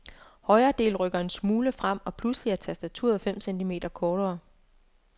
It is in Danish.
Højre del rykker en smule frem og pludselig er tastaturet fem centimeter kortere.